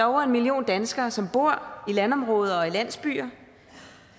over en million danskere som bor i landområder og i landsbyer